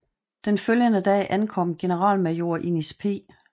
Den følgende dag ankom generalmajor Innis P